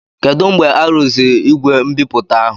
Kedụ mgbe arụziri igwe mbipụta ahụ?